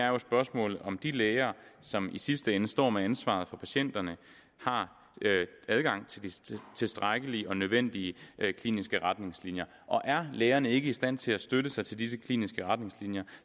jo er spørgsmålet om de læger som i sidste ende står med ansvaret for patienterne har adgang til de tilstrækkelige og nødvendige kliniske retningslinjer og er lægerne ikke i stand til at støtte sig til disse kliniske retningslinjer